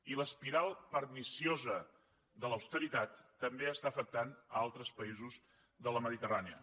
i l’espiral perniciosa de l’austeritat també afecta altres països de la mediterrània